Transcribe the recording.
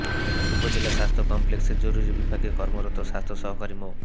উপজেলা স্বাস্থ্য কমপ্লেক্সের জরুরি বিভাগে কর্মরত স্বাস্থ্য সহকারী মো